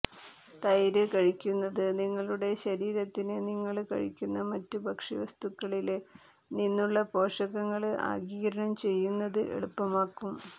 തൈര് കഴിക്കുന്നത് നിങ്ങളുടെ ശരീരത്തിന് നിങ്ങള് കഴിക്കുന്ന മറ്റ് ഭക്ഷ്യവസ്തുക്കളില് നിന്നുള്ള പോഷകങ്ങള് ആഗിരണം ചെയ്യുന്നത് എളുപ്പമാക്കും